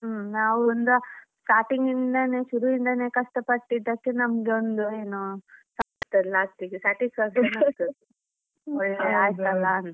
ನಾವ್ ಒಂದ starting ಇಂದಾನೆ ಶುರು ಇಂದನೆ ಕಷ್ಟ ಪಟ್ಟಿದ್ದಕ್ಕೆ ನಮ್ಗೆ ಒಂದು ಏನು last ಇಗೆ satisfaction ಆಯ್ತು ಒಳ್ಳೆ ಆಯ್ತ್ ಅಲ ಅಂತ.